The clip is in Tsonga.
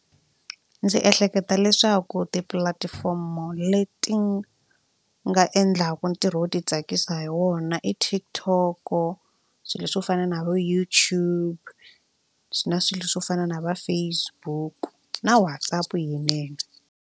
Ndzi ehleketa leswaku tipulatifomo leti nga endlaka ntirho wo titsakisa hi wona i TikTok swilo swo fana na vo YouTube na swilo swo fana na va Facebook na WhatsApp yinene.